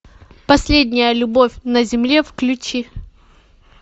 последняя любовь на земле включи